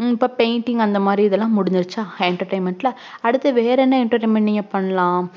ஹம் இப்போ painting இது மாதிரி முடிஞ்சுருச்ச entertainment ல அடுத்தது வேற என்ன entertainment பண்ணலாம்